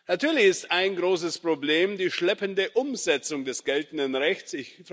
Natürlich ist ein großes Problem die schleppende Umsetzung des geltenden Rechts.